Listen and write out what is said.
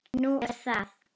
Nú, er það?